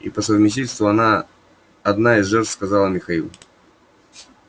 и по совместительству она одна из жертв сказал михаил